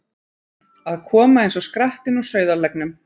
Að koma eins og skrattinn úr sauðarleggnum